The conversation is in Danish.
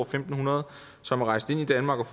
fem hundrede som er rejst ind i danmark og